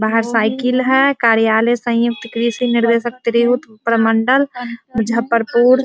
बाहर साइकल है कार्यालय संयुक्त कृषि निर्देशकयुक्त प्रमंडल मुजफ्फरपुर ।